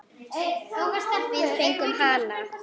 Við fengum hana!